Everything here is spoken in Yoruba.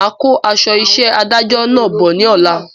Máa kó aṣọ isẹ́ adájọ náà bọ̀ ní ọ̀la